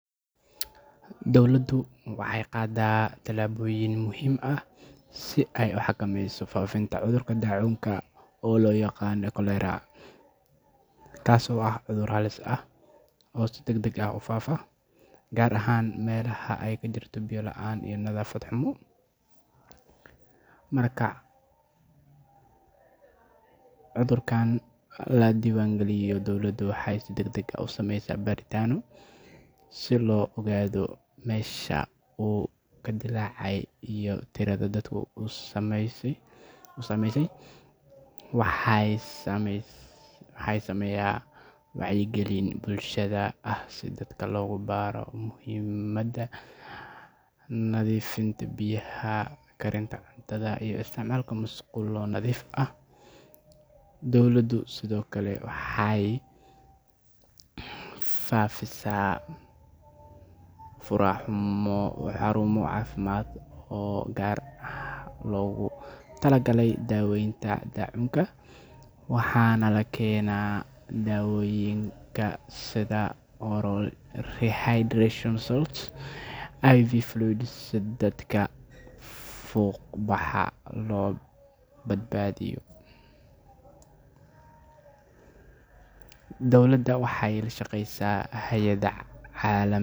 Dowladdu waxay qaadaa tallaabooyin muhiim ah si ay u xakameyso faafitaanka cudurka daacuunka oo loo yaqaan cholera, kaas oo ah cudur halis ah oo si degdeg ah u faafa, gaar ahaan meelaha ay ka jirto biyo la’aan iyo nadaafad xumo. Marka cudurkaan la diiwaangeliyo, dowladdu waxay si degdeg ah u samaysaa baaritaanno si loo ogaado meesha uu ka dillaacay iyo tirada dadka uu saameeyay. Waxaa la sameeyaa wacyigelin bulshada ah si dadka loogu baro muhiimadda nadiifinta biyaha, karinta cuntada, iyo isticmaalka musqulo nadiif ah. Dowladdu sidoo kale waxay fidisaa biyaha nadiifka ah iyadoo adeegsanaysa water trucking ama rakibidda ceelal degdeg ah, si loo hubiyo in dadku aysan cabbin biyo wasakhaysan. Sidoo kale, waxaa la furaa xarumo caafimaad oo gaar ah oo loogu talagalay daawaynta daacuunka, waxaana la keenaa dawooyinka sida oral rehydration salts iyo IV fluids si dadka fuuqbaxa loo badbaadiyo. Dowladda waxay la shaqeysaa hay’adaha caalamiga.